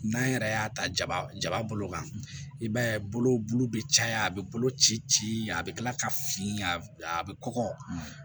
N'an yɛrɛ y'a ta ja jaba bolo kan i b'a ye bolo bɛ caya a bɛ bolo ci ci a bɛ kila ka fina a bɛ kɔgɔ